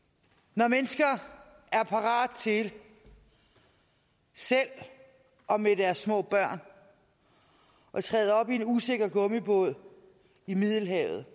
når mennesker er parate til selv og med deres små børn at træde op i en usikker gummibåd i middelhavet